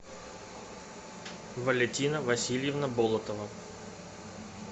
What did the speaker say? валентина васильевна болотова